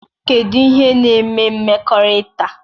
Kedu ihe na-eme mmekọrịta?